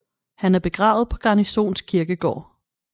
Han er begravet på Garnisons Kirkegård